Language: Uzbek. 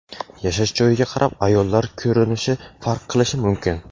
Yashash joyiga qarab ayollar ko‘rinishi farq qilishi mumkin.